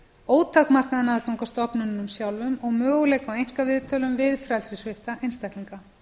ótakmarkaðan aðgang að stofnunum sjálfum og möguleika á einkaviðtölum við frelsissvipta einstaklinga